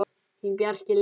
Þinn, Bjarki Leó.